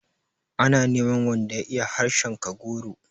Ana neman wanda ya iya harshen Kagoro.